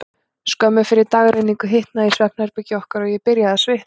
Skömmu fyrir dagrenningu hitnaði í svefnherbergi okkar, og ég byrjaði að svitna.